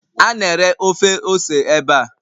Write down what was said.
A na-ere ofe ose ebe a.